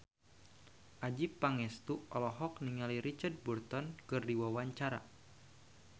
Adjie Pangestu olohok ningali Richard Burton keur diwawancara